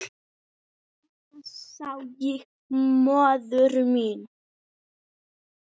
Svona sá ég móður mína.